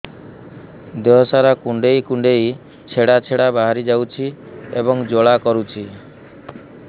ଦେହ ସାରା କୁଣ୍ଡେଇ କୁଣ୍ଡେଇ ଛେଡ଼ା ଛେଡ଼ା ବାହାରି ଯାଉଛି ଏବଂ ଜ୍ୱାଳା କରୁଛି